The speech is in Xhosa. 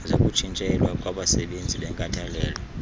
zokutshintselwa kwabasebenzizi benkathalelo